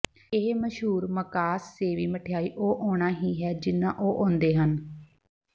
ਇਹ ਮਸ਼ਹੂਰ ਮਕਾਸਸੇਵੀ ਮਿਠਆਈ ਉਹ ਆਉਣਾ ਹੀ ਹੈ ਜਿੰਨੀ ਉਹ ਆਉਂਦੇ ਹਨ